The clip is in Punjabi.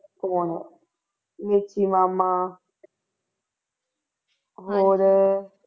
ਹੋਰ ਵਿੱਕੀ ਮਾਮਾ ਹੋਰ